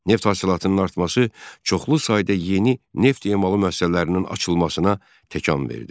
Neft hasilatının artması çoxlu sayda yeni neft emalı müəssisələrinin açılmasına təkan verdi.